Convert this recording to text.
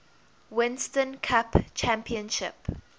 winston cup championship